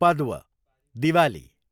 Padwa, Diwali